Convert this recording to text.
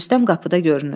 Rüstəm qapıda görünür.